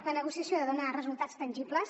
la negociació ha de donar resultats tangibles